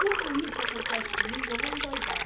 Tudo isso acontece comigo, eu vou endoidar.